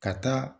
Ka taa